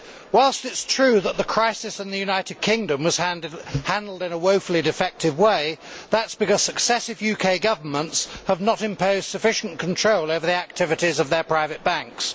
Whilst it is true that the crisis in the United Kingdom was handled in a woefully defective way, that is because successive UK governments have not imposed sufficient control over the activities of their private banks.